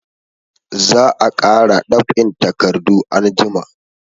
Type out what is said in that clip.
Za a kara dab'in takardu anjima.